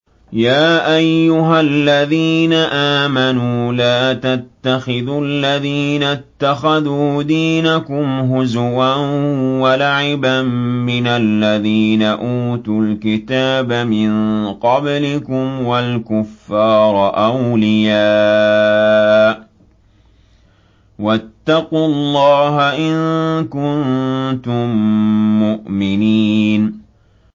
يَا أَيُّهَا الَّذِينَ آمَنُوا لَا تَتَّخِذُوا الَّذِينَ اتَّخَذُوا دِينَكُمْ هُزُوًا وَلَعِبًا مِّنَ الَّذِينَ أُوتُوا الْكِتَابَ مِن قَبْلِكُمْ وَالْكُفَّارَ أَوْلِيَاءَ ۚ وَاتَّقُوا اللَّهَ إِن كُنتُم مُّؤْمِنِينَ